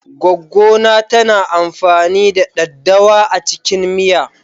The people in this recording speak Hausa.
Goggo na tana amfani da ɗaddawa a cikin miya.